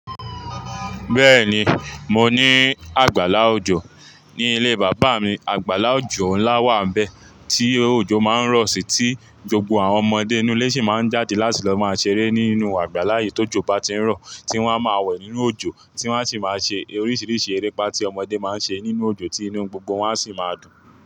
Bẹ́ẹ̀ni, mo ní àgbàlá òjò ní ilé bàbá mi. Àgbàlá òjò ńlá wà bẹ́ẹ̀ tí òjò máa ń rọ̀ sí tí gbogbo àwọn ọmọdé inú ilé sì máa ń jáde láti lọ máa ṣeré nínú àgbàlá yii to jọ bà tí ń rọ̀ tí wọ́n a máa wẹ̀ nínú òjò tí wọ́n a sì máa ṣe oríṣiríṣi erépá tí ọmọdé máa ń ṣe nínú òjò tí inú gbogbo wọn a sì máa dùn.